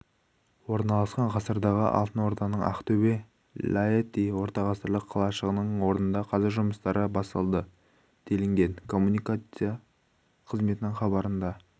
орналасқан ғасырдағы алтын орданың актобе-лаэти ортағасырлық қалашығының орнында қаза жұмыстары басталды делінген коммуникацият қызметінің хабарында